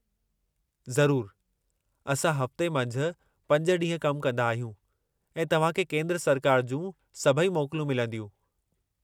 ज़रूरु, असां हफ़्ते मंझि 5 ॾींहं कम कंदा आहियूं ऐं तव्हां खे केंद्र सरकार जूं सभई मोकलूं मिलंदियूं।